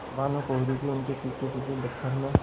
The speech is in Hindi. पर भानुकुँवरि भी उनके पीछेपीछे दफ्तर में